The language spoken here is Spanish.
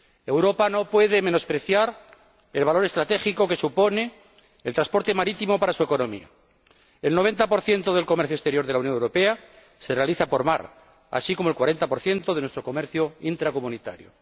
Europa no puede menospreciar el valor estratégico que supone el transporte marítimo para su economía el 90 del comercio exterior de la Unión Europea se realiza por mar, así como el 40 de nuestro comercio intracomunitario.